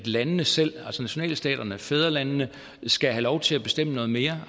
landene selv altså nationalstaterne fædrelandene skal have lov til at bestemme noget mere